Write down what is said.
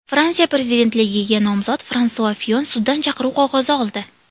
Fransiya prezidentligiga nomzod Fransua Fiyon suddan chaqiruv qog‘ozi oldi.